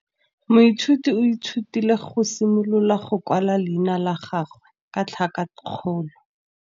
Moithuti o ithutile go simolola go kwala leina la gagwe ka tlhakakgolo.